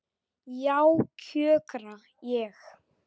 Já, kjökra ég.